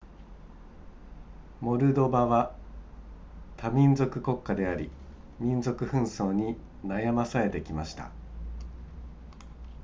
モルドバは多民族国家であり民族紛争に悩まされてきました